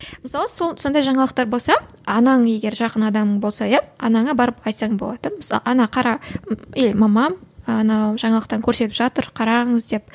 мысалы сол сондай жаңалықтар болса анаң егер жақын адамың болса иә анаңа барып айтсаң болады мысалы ана қара или мамам анау жаңалықтан көрсетіп жатыр қараңыз деп